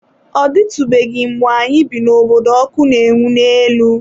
Ọ dịtụbeghị mgbe anyị bi n’obodo ọkụ na-enwu n'elu.